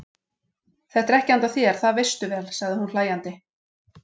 Þetta er ekki handa þér, það veistu vel, sagði hún hlæjandi.